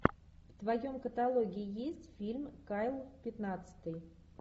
в твоем каталоге есть фильм кайл пятнадцатый